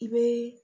I bɛ